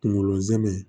Kungolo zɛmɛ